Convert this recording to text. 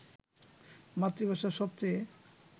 মাতৃভাষা সবচেয়ে